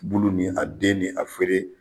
Bulu ni a den ni a feere